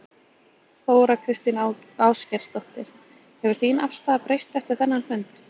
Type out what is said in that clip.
Þóra Kristín Ásgeirsdóttir: Hefur þín afstaða breyst eftir þennan fund?